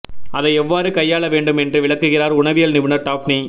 அதை எவ்வாறு கையாள வேண்டும் என்று விளக்குகிறார் உணவியல் நிபுணர் டாஃப்னி